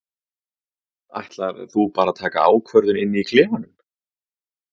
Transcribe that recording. Jóhanna Margrét: Ætlar þú bara að taka ákvörðun inn í klefanum?